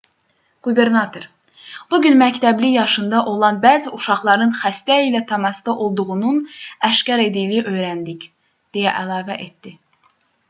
qubernator bu gün məktəbli yaşında olan bəzi uşaqların xəstə ilə təmasda olduğunun aşkar edildiyini öyrəndik deyə əlavə etdi